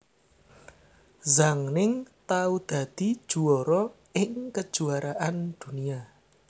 Zhang Ning tau dadi juwara ing Kejuaraan Dunia